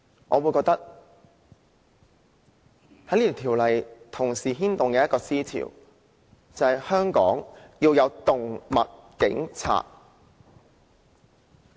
我認為這修訂規例同時牽動一個思潮，便是香港要有"動物警察"。